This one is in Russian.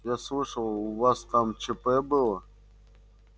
я слышал у вас там чп было